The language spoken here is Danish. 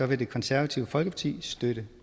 vil det konservative folkeparti støtte